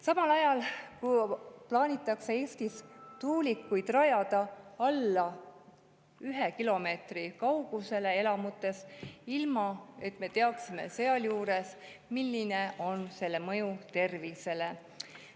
Samal ajal plaanitakse Eestis tuulikuid rajada alla 1 kilomeetri kaugusele elamutest, ilma et me teaksime, milline on nende mõju tervisele.